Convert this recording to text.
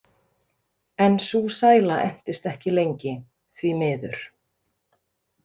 En sú sæla entist ekki lengi, því miður.